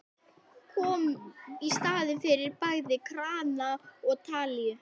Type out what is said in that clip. Kom í staðinn fyrir bæði krana og talíu.